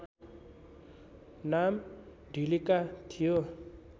नाम ढिलिका थियो